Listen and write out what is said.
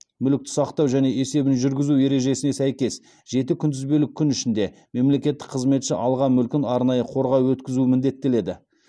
мүлікті сақтау және есебін жүргізу ережесіне сәйкес жеті күнтізбелік күн ішінде мемлекеттік қызметші алған мүлкін арнайы қорға өткізу міндеттеледі